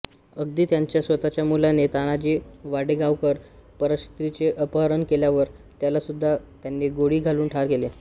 अगदी त्यांच्या स्वतःच्या मुलाने तानाजी वाटेगावकर परस्त्रीचे अपहरण केल्यावर त्यालासुद्धा त्यांनी गोळी घालून ठार केले